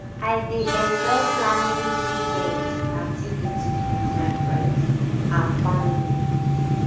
i dey enjoy planning weekend um activities with my friends um and family